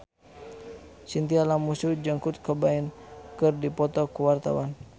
Chintya Lamusu jeung Kurt Cobain keur dipoto ku wartawan